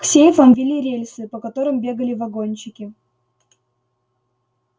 к сейфам вели рельсы по которым бегали вагончики